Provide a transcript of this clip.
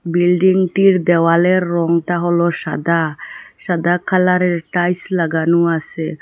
Building -টির দেয়ালের রংটা হল সাদা সাদা কালার -এর টাইলস লাগানো আসে।